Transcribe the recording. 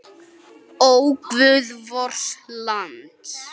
Ó, guð vors lands!